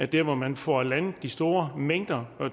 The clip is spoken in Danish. dér hvor man får landet de store mængder